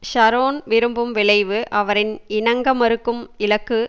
Sharon விரும்பும் விளைவு அவரின் இணங்கமறுக்கும் இலக்கு